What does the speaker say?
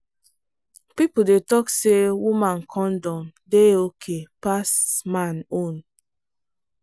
people dey talk say woman condom dey okay pass man own.